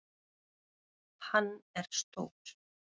Hann er stór.